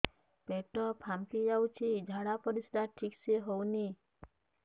ପେଟ ଫାମ୍ପି ଯାଉଛି ଝାଡ଼ା ପରିସ୍ରା ଠିକ ସେ ହଉନି